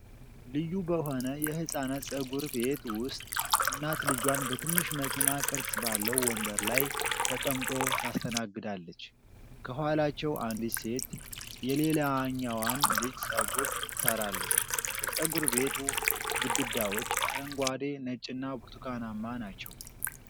ልዩ በሆነ የሕፃናት ጸጉር ቤት ውስጥ እናት ልጇን በትንሽ መኪና ቅርጽ ባለው ወንበር ላይ ተቀምጦ ታስተናግዳለች። ከኋላቸው አንዲት ሴት የሌላኛዋን ልጅ ጸጉር ትሠራለች። የጸጉር ቤቱ ግድግዳዎች አረንጓዴ፣ ነጭና ብርቱካናማ ናቸው።